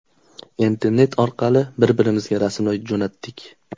Internet orqali bir-birimizga rasmlar jo‘natdik.